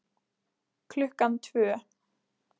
Klukkan tvö